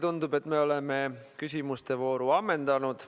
Tundub, et me oleme küsimuste vooru ammendanud.